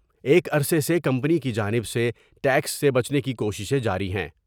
ایک عرصے سے کمپنی کی جانب سے ٹیکس سے بچنے کی کوششیں جارہی ہیں ۔